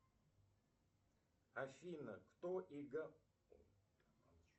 афина кто